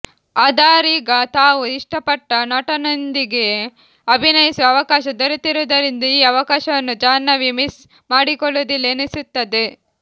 ಆದರಿಗಾ ತಾವು ಇಷ್ಟ ಪಟ್ಟ ನಟನೊಂದಿಗೆಯೇ ಅಭಿನಯಿಸುವ ಅವಕಾಶ ದೊರೆತಿರುವುದರಿಂದ ಈ ಅವಕಾಶವನ್ನು ಜಾಹ್ನವಿ ಮಿಸ್ ಮಾಡಿಕೊಳ್ಳುವುದಿಲ್ಲ ಎನಿಸುತ್ತದೆ